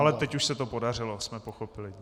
Ale teď už se to podařilo, jsme pochopili.